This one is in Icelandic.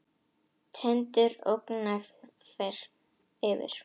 Tindur gnæfir yfir.